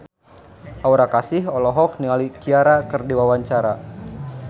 Aura Kasih olohok ningali Ciara keur diwawancara